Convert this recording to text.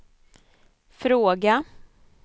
fråga